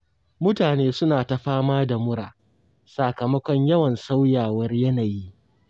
Mutane suna ta fama da mura, sakamakon yawan sauyawar yanayi.